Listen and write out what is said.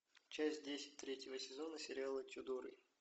часть десять третьего сезона сериала тюдоры